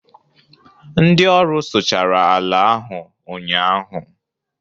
ndị ọrụ sụchara ala ahu ụnyaahụ